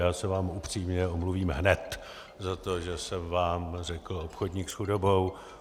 Já se vám upřímně omluvím hned za to, že jsem vám řekl obchodník s chudobou.